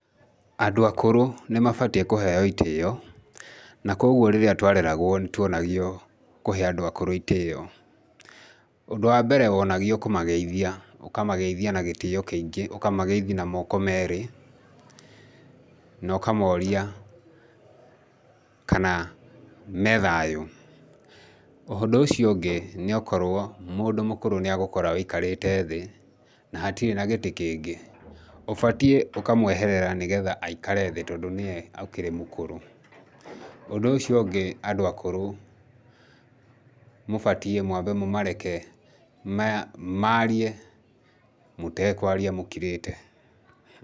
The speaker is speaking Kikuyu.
Andũ akũrũ nĩmabatiĩ kũheo itĩo, na kogwo rĩrĩa twareragwo nĩtwonagio kũhe andũ akũrũ itĩo. Ũndũ wa mbere wonagio kũmageithia, ũkamageithia na gĩtĩo kĩingĩ, ũkamageithia na moko merĩ, no kamoria kana methayũ, ũndũ ũcio ũngĩ nĩokorwo mũndũ mũkũrũ nĩagũkora weikarĩte thĩ na hatirĩ na gĩtĩ kĩngĩ, ũbatiĩ ũkamweherera nĩgetha aikare thĩ tondũ nĩe akĩrĩ mũkũrũ, ũndũ ũcio ũngĩ andũ akũrũ, mũbatiĩ mwambe mũmareke marie mũtekwaria mũkirĩte.